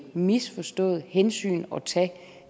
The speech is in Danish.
misforstået hensyn at tage